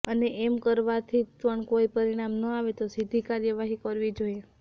અને તેમ કરવાથી પણ કોઈ પરિણામ ન આવે તો સીધી કાર્યવાહી કરવી જોઈએ